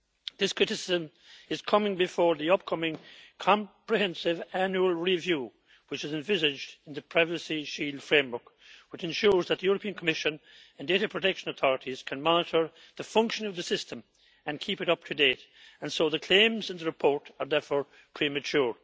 This criticism comes before the upcoming comprehensive annual review which is envisaged in the Privacy Shield framework, which ensures that the European Commission and data protection authorities can monitor the functioning of the system and keep it up to date, and so the claims in the report are therefore premature.